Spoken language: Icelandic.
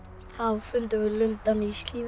þá fundum við lundann í